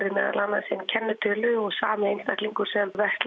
meðal annars inn kennitölu og sami einstaklingur sem